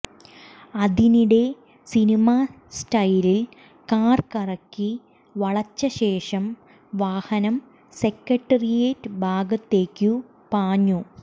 അതിനിടെ സിനിമാ സ്റ്റൈലിൽ കാർ കറക്കി വളച്ചശേഷം വാഹനം സെക്രട്ടേറിയറ്റ് ഭാഗത്തേക്കു പാഞ്ഞു